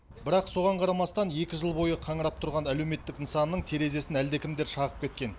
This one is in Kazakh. бірақ соған қарамастан екі жыл бойы қаңырап тұрған әлеуметтік нысанның терезесін әлдекімдер шағып кеткен